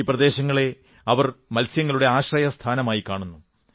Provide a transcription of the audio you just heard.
ഈ പ്രദേശങ്ങളെ അവർ മത്സ്യങ്ങളുടെ ആശ്രയസ്ഥാനമായി കാണുന്നു